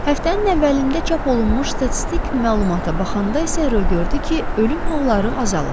Həftənin əvvəlində çap olunmuş statistik məlumata baxanda isə gördü ki, ölüm halları azalıb.